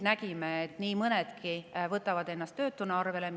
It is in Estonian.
Nägime, et nii mõnedki võtavad ennast siis töötuna arvele.